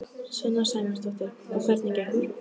Sunna Sæmundsdóttir: Og hvernig gengur?